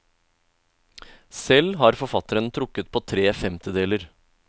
Selv har forfatteren trukket på tre femtedeler.